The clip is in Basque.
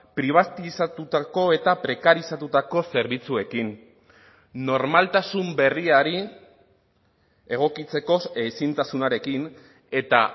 pribatizatutako eta prekarizatutako zerbitzuekin normaltasun berriari egokitzeko ezintasunarekin eta